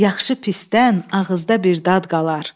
Yaxşı pisdən ağızda bir dad qalar.